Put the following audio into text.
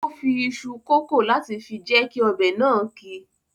O fi iṣu kòkó láti fi jẹ kí ọbẹ̀ náà ki.